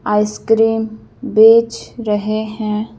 Ice cream बेच रहे हैं।